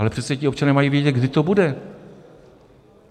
Ale přece ti občané mají vědět, kdy to bude.